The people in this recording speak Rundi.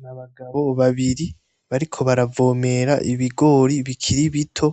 Ni abagabo babiri bariko baravomera ibigori bikiri bito,